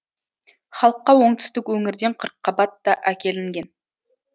халыққа оңтүстік өңірден қырыққабат та әкелінген